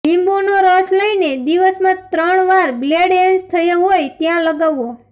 લીંબુનો રસ લઇને દિવસમાં ત્રણ વાર બ્લેડહેડ્સ થયા હોય ત્યાં લગાવવો